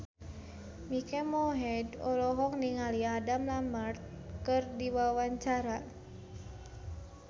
Mike Mohede olohok ningali Adam Lambert keur diwawancara